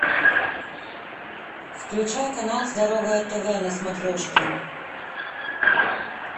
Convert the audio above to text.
включай канал здоровое тв на смотрешке